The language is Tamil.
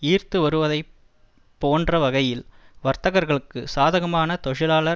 ஈர்த்து வருவதை போன்ற வகையில் வர்த்தகர்களுக்கு சாதகமான தொழிலாளர்